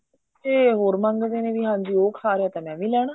ਇਹ ਹੋਰ ਮੰਗਦੇ ਨੇ ਵੀ ਹਾਂਜੀ ਉਹ ਖਾ ਰਿਹਾ ਤਾਂ ਮੈਂ ਵੀ ਲੈਣਾ